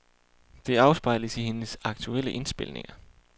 Det afspejles i hendes aktuelle indspilninger.